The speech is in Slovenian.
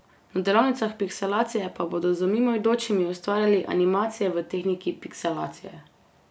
Na delavnicah pikselacije pa bodo z mimoidočimi ustvarjali animacije v tehniki pikselacije.